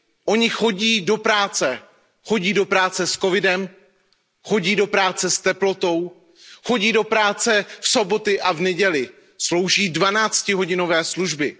Oni chodí do práce, chodí do práce s COVID 19, s teplotou, chodí do práce v sobotu a v neděli, slouží dvanáctihodinové služby.